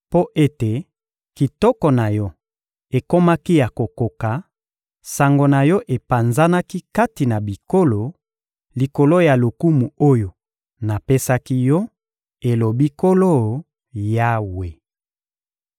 Mpo ete kitoko na yo ekomaki ya kokoka, sango na yo epanzanaki kati na bikolo, likolo ya lokumu oyo napesaki yo, elobi Nkolo Yawe.